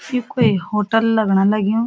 यू क्वे होटल लगण लग्युं।